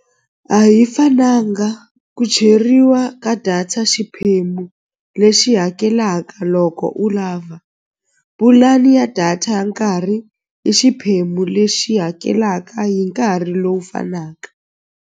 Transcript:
A hi fananga ku cheriwa ka data xiphemu lexi hakelaka loko u lava pulani ya data ya nkarhi i xiphemu lexi hakelaka hi nkarhi lowu fanaka.